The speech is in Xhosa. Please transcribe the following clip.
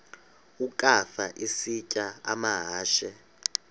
ukafa isitya amahashe